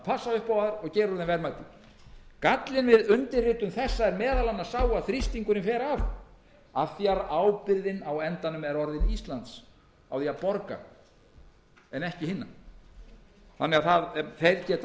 passa upp á að gera úr þeim verðmæti gallinn við undirritun þessa er meðal annars sá að þrýstingurinn fer af af því að ábyrgðin á því að borga er á endanum orðin íslands en ekki hinna þannig að þeir geta